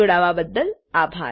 જોડાવા બદ્દલ આભાર